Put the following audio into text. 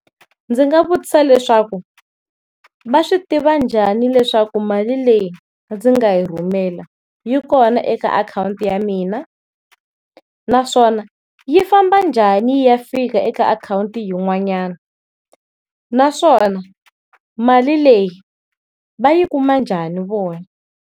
Ndzi nga vutisa leswaku, va swi tiva njhani leswaku mali leyi ndzi nga yi rhumela yi kona eka akhawunti ya mina, naswona yi famba njhani yi ya fika eka akhawunti yin'wanyana, naswona mali leyi va yi kuma njhani vona?